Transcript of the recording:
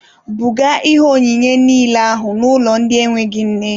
Buga ihe onyinye niile ahụ n'ụlọ ndị enweghị nne!.